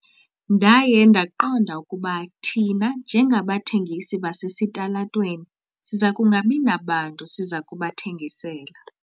Ndaye ndaqonda ukuba thina njengabathengisi basesitalatweni siza kungabi nabantu siza kubathengisela.